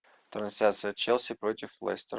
трансляция челси против лестера